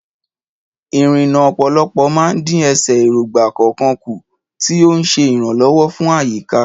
Ìrìnnà ọ̀pọ̀lọpọ̀ máa ń dín ẹsẹ̀ erogba kọ̀ọ̀kan kù, tí ó ń ṣe ìrànlọ́wọ́ fún àyíká.